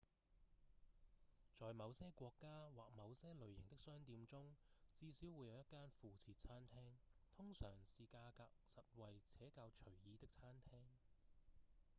在某些國家或某些類型的商店中至少會有一間附設餐廳通常是價格實惠且較隨意的餐廳